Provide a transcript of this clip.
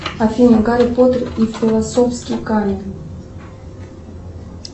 афина гарри поттер и философский камень